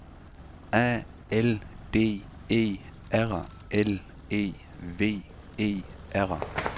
A L D E R L E V E R